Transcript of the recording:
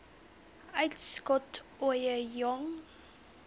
uitskot ooie jong